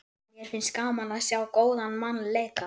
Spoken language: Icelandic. Mér finnst gaman að sjá góðan mann leika.